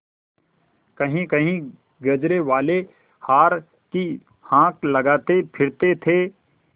कहींकहीं गजरेवाले हार की हाँक लगाते फिरते थे